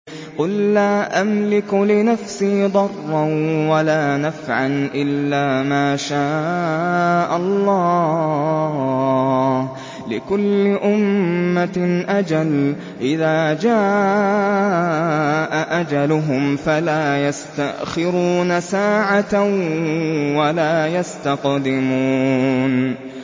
قُل لَّا أَمْلِكُ لِنَفْسِي ضَرًّا وَلَا نَفْعًا إِلَّا مَا شَاءَ اللَّهُ ۗ لِكُلِّ أُمَّةٍ أَجَلٌ ۚ إِذَا جَاءَ أَجَلُهُمْ فَلَا يَسْتَأْخِرُونَ سَاعَةً ۖ وَلَا يَسْتَقْدِمُونَ